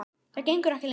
Það gengur ekki lengur.